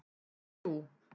þrjú